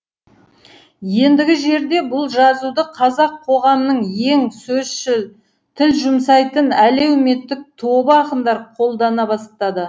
ендігі жерде бұл жазуды қазақ қоғамының ең сөзшіл тіл жұмсайтын әлеуметтік тобы ақындар қолдана бастады